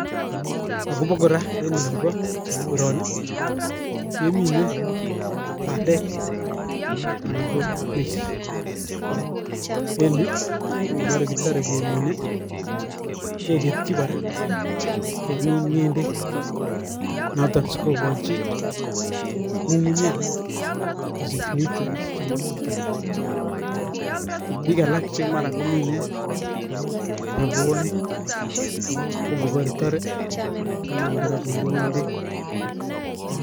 Akobo kora en olibo koroni kemine bandek anan ko maize, en yuu ko ng'obore kitore kemine keketyi kora kemin ng'endek noton sikikochi ng'ung'unyek kosich nutrients chemokying'ee, biik alak chemara komine robwonik kong'obore tore konam kora konde ng'endek.